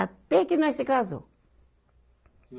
Até que nós se casou.